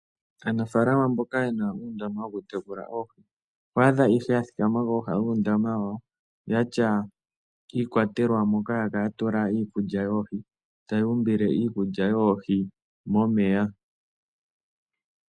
Aanafaalama mboka yena uudama wokutekula oohi, oho adha nduno yathikama kooha dhuundama hoka yatya iikwatela mbyoka haya kala yatula iikulya yoohi taya umbile iikulya yoohi momeya.